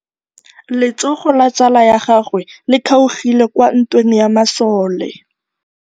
Letsôgô la tsala ya gagwe le kgaogile kwa ntweng ya masole.